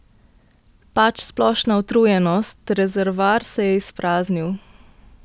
Pač, splošna utrujenost, rezervoar se je izpraznil.